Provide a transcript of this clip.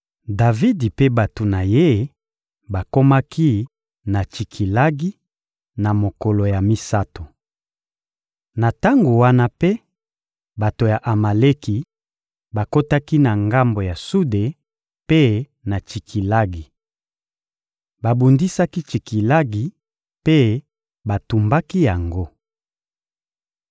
Davidi mpe bato na ye bakomaki na Tsikilagi, na mokolo ya misato. Na tango wana mpe, bato ya Amaleki bakotaki na ngambo ya Sude mpe na Tsikilagi. Babundisaki Tsikilagi mpe batumbaki yango.